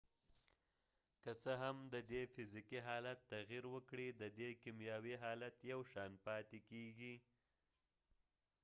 که څه هم ددې فزیکې حالت تغیر وکړي ،ددې کېمیاوي حالت یو شان پاتی کېږی